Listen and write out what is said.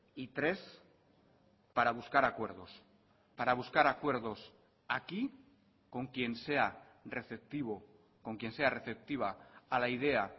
y tres para buscar acuerdos para buscar acuerdos aquí con quien sea receptivo con quien sea receptiva a la idea